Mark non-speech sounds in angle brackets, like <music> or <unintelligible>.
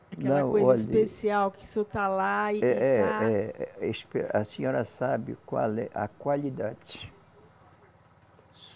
Aquela coisa especial que o senhor está lá e e <unintelligible> A senhora sabe qual é a qualidade.